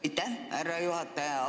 Aitäh, härra juhataja!